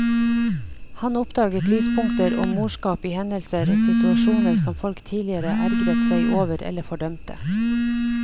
Han oppdaget lyspunkter og morskap i hendelser og situasjoner som folk tidligere ergret seg over eller fordømte.